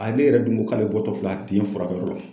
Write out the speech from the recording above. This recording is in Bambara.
Ale yɛrɛ dun ko k'ale bɔtɔ filɛ a den furakɛ yɔrɔ la.